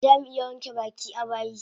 Zamu iya wanke baki a bayi